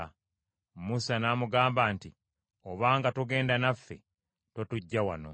Musa n’amugamba nti, “Obanga toogende naffe, totuggya wano.